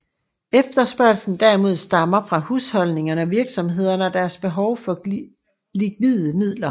Efterspørgslen derimod stammer fra husholdningerne og virksomhederne og deres behov for likvide midler